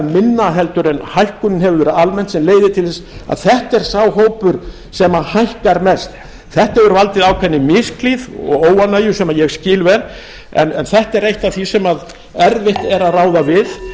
minna heldur en hækkunin hefur verið almennt sem leiðir til þess að þetta er sá hópur sem hækkar mest þetta hefur valdið ákveðinni misklíð og óánægju sem ég skil vel en þetta er eitt af því sem erfitt er að ráða við